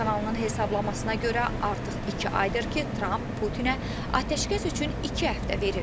CNN kanalının hesablamasına görə, artıq iki aydır ki, Tramp Putinə atəşkəs üçün iki həftə verir.